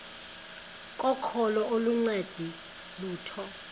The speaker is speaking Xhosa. kokholo aluncedi lutho